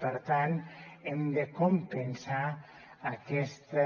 per tant hem de compensar aquesta